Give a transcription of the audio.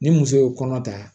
Ni muso ye kɔnɔ ta